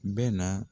Bɛ na